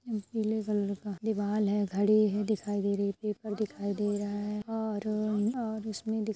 पीले कलर का दीवाल है घड़ी है दिखाई दे रही है दिखाई दे रहा हैऔर अ और उसमे --